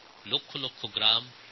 লক্ষ লক্ষ গ্রাম রয়েছে